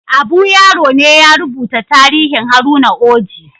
Abu Yaro ne ya rubuta tarihin Haruna Oji